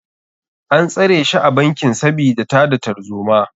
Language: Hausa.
An tsare shi a bankin sabida tada tarzoma.